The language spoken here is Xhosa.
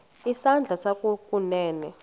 isandla sakho sokunene